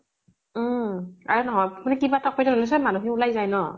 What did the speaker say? উম আৰু মানুহ খিনি ওলাই যায় ন